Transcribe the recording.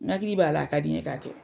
N hakili b'a la, a ka di n ye ka kɛ.